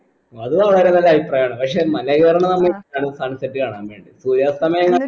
അത് വളരെ നല്ല അഭിപ്രായാണ് പക്ഷെ മലയോരംന്ന് പറഞ്ഞ sunset കാണാൻ വേണ്ടി സൂര്യസ്തമയം